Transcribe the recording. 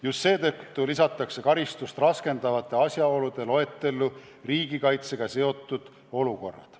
Just seetõttu lisatakse karistust raskendavate asjaolude loetellu riigikaitsega seotud olukorrad.